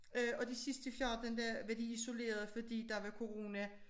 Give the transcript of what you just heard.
Og de sidste 14 dage var de isoleret fordi der var corona